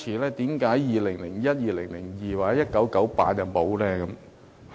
為何2001年、2002年或1998年沒有？